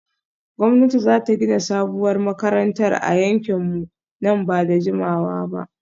Gwamnati za ta gina sabuwar makarantar a yankinmu nan ba da jimawa ba